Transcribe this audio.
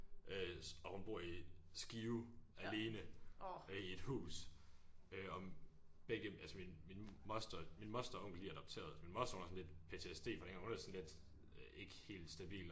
Øh og hun bor i Skive alene øh i et hus øh og begge altså min min moster min moster og onkel de er adopteret min moster hun har sådan lidt PTSD fra dengang hun er sådan lidt ikke helt stabil